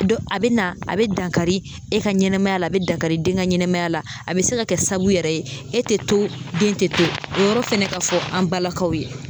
Dɔn a be na a be dankari e ka ɲɛnamaya la a be dankari e den ka ɲɛnɛmaya la a be se ka kɛ saabu yɛrɛ ye e te to den in te to o yɔrɔ fɛnɛ ka fɔ an balakaw ye